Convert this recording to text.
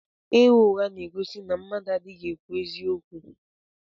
Ịgha ụgha na-egosi na mmadụ adịghị ekwu eziokwu.